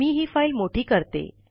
मी ही फाइल मोठी करते